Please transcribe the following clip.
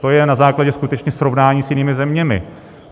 To je na základě skutečně srovnání s jinými zeměmi.